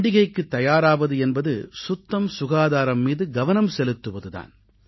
பண்டிகைக்குத் தயாராவது என்பது சுத்தம்சுகாதாரம் மீது கவனம் செலுத்துவது தான்